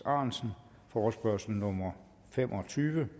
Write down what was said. ahrendtsen forespørgsel nummer fem og tyve